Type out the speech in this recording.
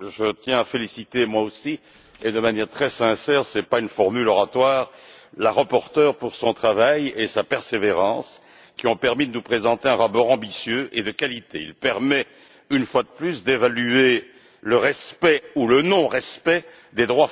je tiens à féliciter, moi aussi et de manière très sincère ce n'est pas une formule oratoire la rapporteure pour son travail et sa persévérance, qui lui ont permis de nous présenter un rapport ambitieux et de qualité. Il permet une fois de plus d'évaluer le respect ou le non-respect des droits fondamentaux au sein des États membres.